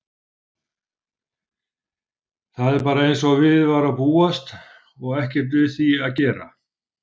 Það er bara einsog við var að búast og ekkert við því að gera.